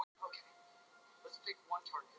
Sjáðu hvað það þarf oft að bjarga honum úr klípu.